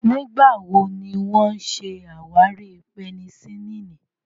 Nígbà wo ni wọ́n ṣàwárí penicillin?